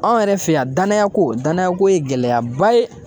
Anw yɛrɛ fɛ yan danaya ko danaya ko ye gɛlɛyaba ye.